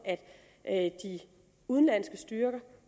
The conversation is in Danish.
at de udenlandske styrker